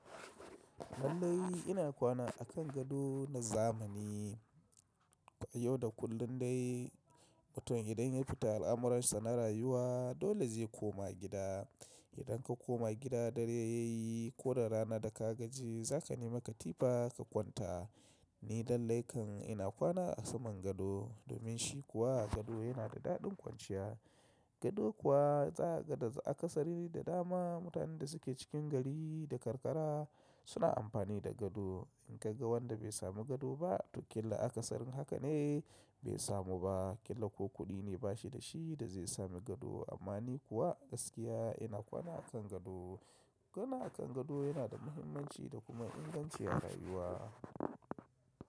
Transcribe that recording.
Lallai ina kwana a kan gado na zamani. Yau da kullun dai mutum idan ya fita al'amuransa na rayuwa dole zai koma gida. Idan ka koma gida dare yayi ko da rana da ka gaji za ka nema katifa ka kwanta. Ni lallai kan ina kwana a saman gado domin shi kuwa gado yana da daɗin kwanciya. Gado kuwa zakaga da akasari da dama. Mutanen da suke cikin gari da karkara suna amfani da gado. In ka ga wanda bai samu gado ba to ƙila aka sari haka ne bai samu ba, ƙila ko kuɗi ne ba shi da shi da zai samu gado. Amma ni kuwa gaskiya ina kwana a kan gado. Kwana a kan gado yana da muhimmanci da kuma inganci a rayuwa.